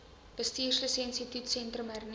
bestuurslisensie toetssentrum hernu